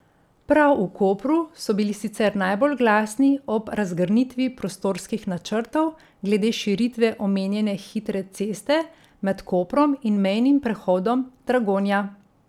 Prav v Kopru so bili sicer najbolj glasni ob razgrnitvi prostorskih načrtov glede širitve omenjene hitre ceste med Koprom in mejnim prehodom Dragonja.